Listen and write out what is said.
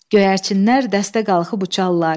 Göyərçinlər dəstə qalxıb uçallar.